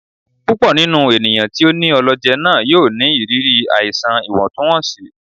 Púpọ ninú ènìyàn tí o ní ọlọjẹ náà yóò ní ìrírí àìsàn ìwọntúnwọnsí